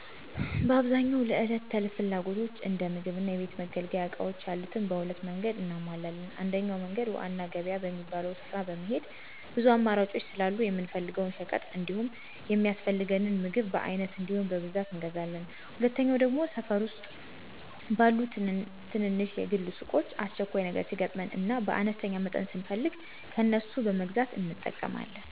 በአብዛኛው ለዕለት ተዕለት ፍላጎቶች እንደ ምግብ እና የቤት መገልገያ እቃዎች ያሉትን በሁለት መንገድ እናሟላለን። አንደኛው መንገድ ዋና ገበያ በሚባለው ስፍራ በመሄድ ብዙ አማራጮች ስላሉ የምንፈልገውን ሸቀጥ እንዲሁም የሚያስፈልገንን ምግብ በአይነት እንዲሁም በብዛት እንገዛለን፤ ሁለተኛው ደግሞ ሠፈር ዉስጥ ባሉ ትናንሽ የግል ሱቆች አስቸኳይ ነገር ሲገጥመን እና በአነስተኛ መጠን ስንፈልግ ከነሱ በመግዛት እንጠቀማለን።